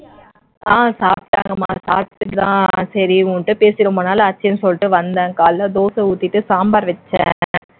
ஆஹ் சாப்பிட்டாங்கம்மா சாப்பிட்டுட்டு தான் சரி உன் கிட்ட பேசி ரொம்ப நாளாச்சுன்னு சொல்லிட்டு வந்தேன் காலைல தோசை ஊத்திட்டு சாம்பார் வச்சேன்